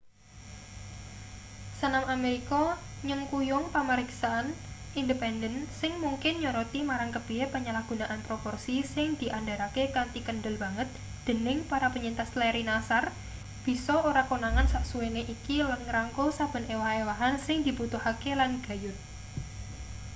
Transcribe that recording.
senam amerika nyengkuyung pamariksan independen sing mungkin nyoroti marang kepiye penyalahgunaan proporsi sing diandharake kanthi kendel banget dening para penyintas larry nassar bisa ora konangan sasuwene iki lan ngrangkul saben ewah-ewahan sing dibutuhake lan gayut